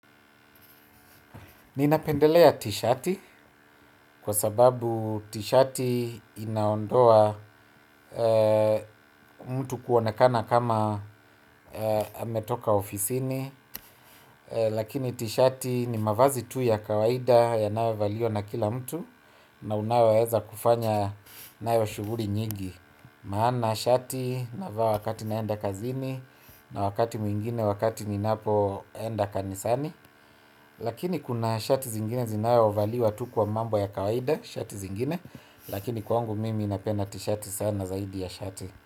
Ninapendelea t-shati kwa sababu t-shati inaondoa mtu kuonekana kama ametoka ofisini, lakini t-shati ni mavazi tu ya kawaida yanayo valiwa na kila mtu na unayoweza kufanya nayo shughui nyigi. Maana shati navaaa wakati naenda kazini na wakati mwingine wakati ninapo enda kanisani. Lakini kuna shati zingine zinayo valiwa tu kwa mambo ya kawaida. Shati zingine lakini kwangu mimi napena tishati sana zaidi ya shati.